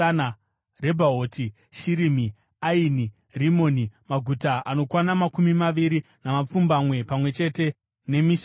Rebhaoti, Shirimi, Aini, Rimoni, maguta anokwana makumi maviri namapfumbamwe pamwe chete nemisha yawo.